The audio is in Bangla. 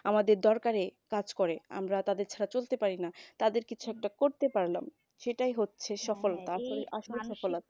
আমাদের দরকারে কাজ করে আমরা তাদের ছাড়া চলতে পারি না তাদের কিছু একটা করতে পারলাম সেটাই হচ্ছে সফলতা আসলে সফলতা